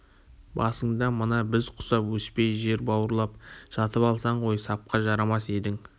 басыңда мына біз құсап өспей жер бауырлап жатып алсаң ғой сапқа жарамас едің